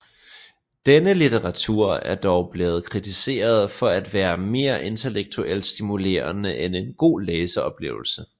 Denne litteratur er dog blevet kritiseret for at være mere intellektuelt stimulerende end en god læseoplevelse